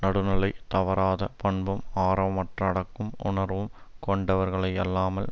நடுநிலை தவறாத பண்பும் ஆரவாரமற்ற அடக்க உணர்வும் கொண்டவர்களையல்லாமல்